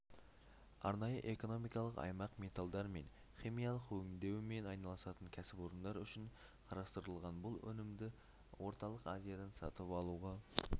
арнайы экономикалық аймақ металдармен химиялық өңдеумен айналысатын кәсіпорындар үшін қарастырылған бұл өнімді орталық азиядан сатып алуға